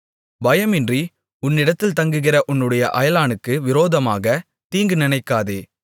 பயமின்றி உன்னிடத்தில் தங்குகிற உன்னுடைய அயலானுக்கு விரோதமாகத் தீங்கு நினைக்காதே